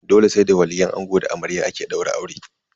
Dole sai da waliyin ango da na amarya ake daura aure.